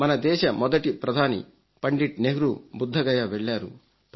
మన దేశ మొదటి ప్రధాని పండిట్ నెహ్రూ బుద్ధగయ వెళ్లారు